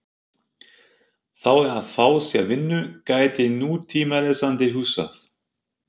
Þá er að fá sér vinnu, gæti nútímalesandi hugsað.